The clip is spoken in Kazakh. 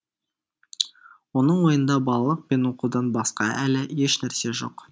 оның ойында балалық пен оқудан басқа әлі ешнәрсе жоқ